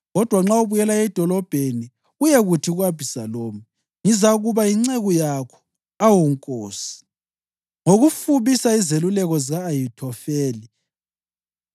Kodwa nxa ubuyela edolobheni uyekuthi ku-Abhisalomu, ‘Ngizakuba yinceku yakho, awu nkosi, ngangiyinceku kayihlo kudala, kodwa khathesi ngizakuba yinceku yakho,’ lapho-ke ungangisiza ngokufubisa izeluleko zika-Ahithofeli.